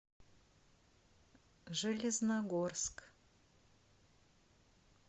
железногорск